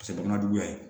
jamana juguya ye